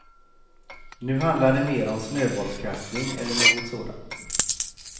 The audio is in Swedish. Nu handlar det mer om snöbollskastning eller något sådant.